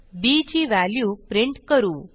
बी ची value print करू